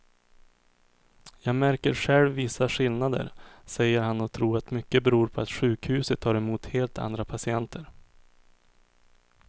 Jag märker själv vissa skillnader, säger han och tror att mycket beror på att sjukhuset tar emot helt andra patienter.